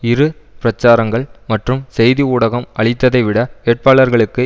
இரு பிரச்சாரங்கள் மற்றும் செய்தி ஊடகம் அளித்ததைவிட வேட்பாளர்களுக்கு